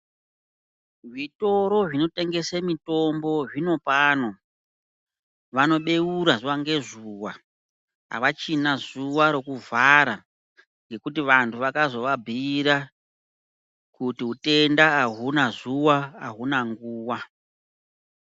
Zvitoro zvinotengese mitombo zvinopano vanobeura zuva ngezuva. Havachina zuva rokuvhara ngekuti vantu vakazovabhuira kuti hutenda haunazuva hauna nguva.